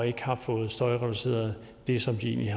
ikke har fået støjreduceret det som de egentlig